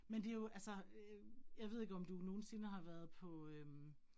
Men det jo altså øh jeg ved ikke om du nogensinde har være på øh